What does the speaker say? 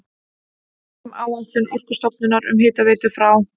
Frumáætlun Orkustofnunar um hitaveitu frá